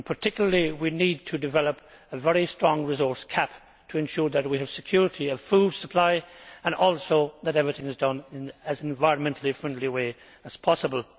Particularly we need to develop a very strongly resourced CAP to ensure that we have security of food supply and also that everything is done in as environmentally friendly a way as possible.